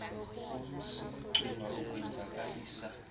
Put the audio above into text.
umsi wecuba ukwenzakalisa